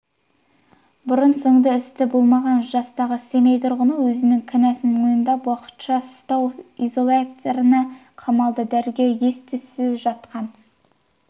бұрын-соңды істі болмаған жастағы семей тұрғыны өзінің кінәсін мойындап уақытша ұстау изоляторына қамалды дәрігер ес-түссіз жатқан